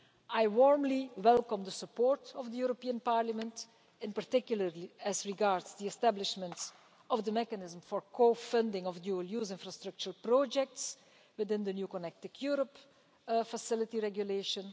I warmly welcome the support of Parliament, in particular as regards the establishment of the mechanism for co funding of dual use infrastructure projects within the new Connecting Europe Facility Regulation.